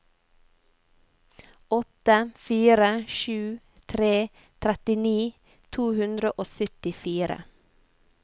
åtte fire sju tre trettini to hundre og syttifire